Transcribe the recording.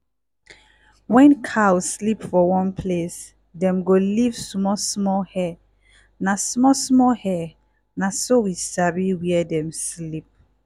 when cow sleep for one place dem go leave small-small hair. na small-small hair. na so we sabi where dem sleep.